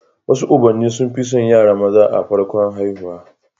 Wasu ubanni sun fi son yara maza a farkon haihuwa